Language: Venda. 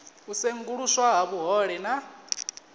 u senguluswa ha vhuhole na